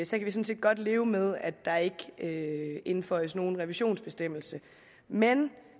sådan set godt leve med at der ikke ikke indføjes nogen revisionsbestemmelse men